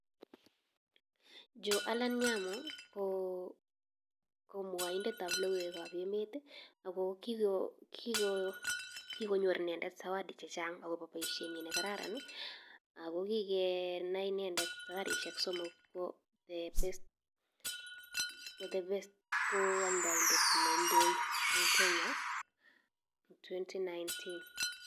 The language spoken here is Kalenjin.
Joe Aalan nyamu ko mwoindetab logoiwekab emet, ako kikonyoor inendet zawadi chechang akobo boishenyii nekararan. Ako kikenaindet safarisiek somok, ko amdoindet neindoo en Kenya en 2019